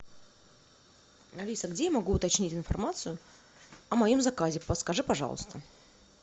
алиса где я могу уточнить информацию о моем заказе подскажи пожалуйста